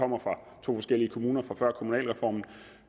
kommer fra to forskellige kommuner fra før kommunalreformen